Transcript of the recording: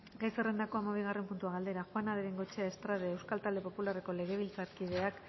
gai zerrendako hamabigarren puntua galdera juana de bengoechea estrade euskal talde popularreko legebiltzarkideak